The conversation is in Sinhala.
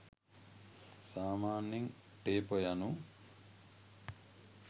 සාමාන්‍යයෙන් ටේපර් යනු